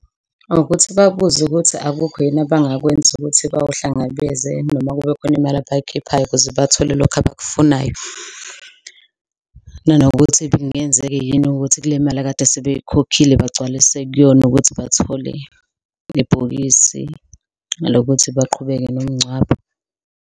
Ukuthi babuze ukuthi akukho yini abangakwenza ukuthi bawu hlangabeze. Noma kubekhona imali abayikhiphayo ukuze bathole lokhu abakufunayo. Nanokuthi kungenzeke yini ukuthi kule mali akade sebeyikhokhile bagcwalise kuyona ukuthi bathole nebhokisi lokuthi baqhubeke nomngcwabo.